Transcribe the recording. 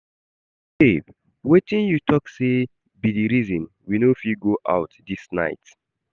Babe wetin you talk say be the reason we no fit go out this night?